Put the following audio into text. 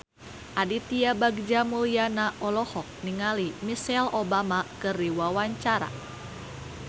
Aditya Bagja Mulyana olohok ningali Michelle Obama keur diwawancara